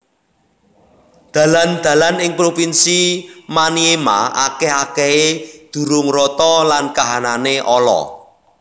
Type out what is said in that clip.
Dalan dalan ing provinsi Maniema akèh akèhé durung rata lan kahanané ala